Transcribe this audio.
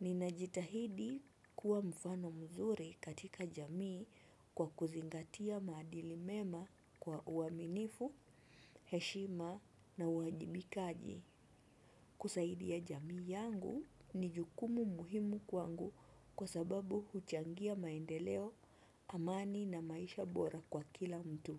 Ninajitahidi kuwa mfano mzuri katika jamii kwa kuzingatia maadili mema kwa uaminifu, heshima na uwajibikaji. Kusaidia jamii yangu ni jukumu muhimu kwangu kwa sababu huchangia maendeleo amani na maisha bora kwa kila mtu.